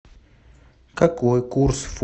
какой курс фунта к американскому доллару сегодня